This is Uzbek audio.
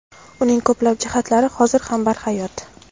uning ko‘plab jihatlari hozir ham barhayot.